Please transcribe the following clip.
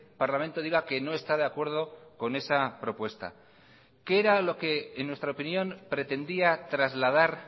parlamento diga que no está de acuerdo con esa propuesta qué era lo que en nuestra opinión pretendía trasladar